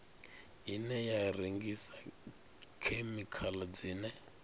ine ya rengisa khemikhala dzine